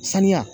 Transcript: Saniya